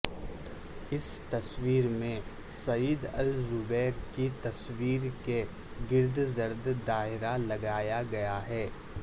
اس تصویر میں Saad Al Jubairi کی تصویر کے گرد زرد دائرہ لگایا گیا ہے